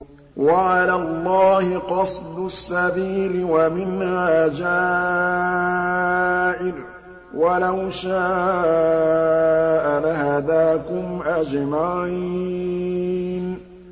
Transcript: وَعَلَى اللَّهِ قَصْدُ السَّبِيلِ وَمِنْهَا جَائِرٌ ۚ وَلَوْ شَاءَ لَهَدَاكُمْ أَجْمَعِينَ